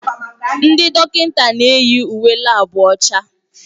Ndị dọkịta na-eyi uwe laabu ọcha.